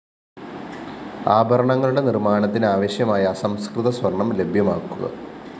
ആഭരണങ്ങളുടെ നിര്‍മ്മാണത്തിനാവശ്യമായ അസംസ്‌കൃത സ്വര്‍ണം ലഭ്യമാക്കുക